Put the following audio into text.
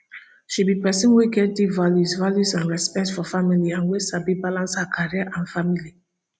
she be pesin wey get deep values values and respect for family and wey sabi balance her career and family